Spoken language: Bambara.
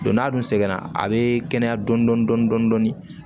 n'a dun sɛgɛnna a be kɛnɛya dɔɔni dɔɔni